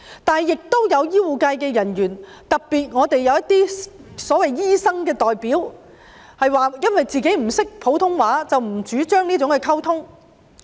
但是，亦有醫護人員，特別是一些所謂"醫生代表"，表示自己不懂普通話，並不主張這種溝通。